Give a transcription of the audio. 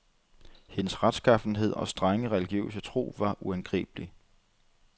Hendes retskaffenhed og strenge, religiøse tro var uangribelig.